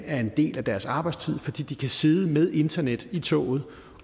er en del af deres arbejdstid fordi de kan sidde med internet i toget